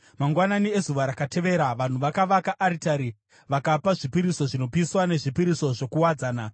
Mangwanani ezuva rakatevera, vanhu vakavaka aritari vakapa zvipiriso zvinopiswa nezvipiriso zvokuwadzana.